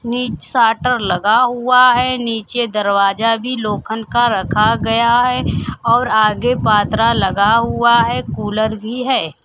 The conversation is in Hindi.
नीच शाटर लगा हुआ हैं नीचे दरवाजा भी लोखन का रखा गया है और आगे पात्ररा लगा हुआ हैं कूलर भी है।